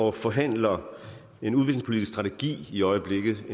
og forhandler en udviklingspolitisk strategi i øjeblikket